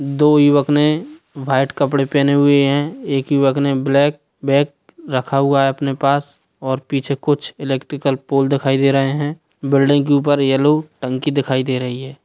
दो युवक ने व्हाइट कपड़े पहने हुए है एक युवक ने ब्लैक बैग रखा हुआ है अपने पास और पीछे कुछ इलेक्ट्रिकल पोल दिखाई दे रहें है बिल्डिंग के ऊपर येलो टंकी दिखाई दे रही है।